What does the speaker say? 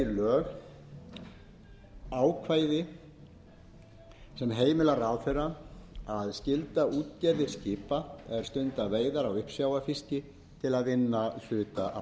sett verði í lög ákvæði sem heimilar ráðherra að skylda útgerðir skipa er stunda veiðar á uppsjávarfiski til að vinna hluta